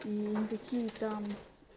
и никакие там